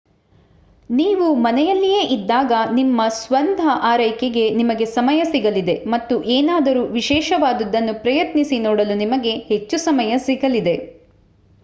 ನೀವು ಮನೆಯಲ್ಲಿಯೇ ಇದ್ದಾಗ ನಿಮ್ಮ ಸ್ವತಃ ಆರೈಕೆಗೆ ನಿಮಗೆ ಸಮಯ ಸಿಗಲಿದೆ ಮತ್ತು ಏನಾದರೂ ವಿಶೇಷವಾದುದನ್ನು ಪ್ರಯತ್ನಿಸಿ ನೋಡಲು ನಿಮಗೆ ಹೆಚ್ಚು ಸಮಯ ಸಿಗಲಿದೆ